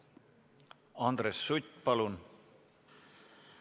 Andres Sutt, palun!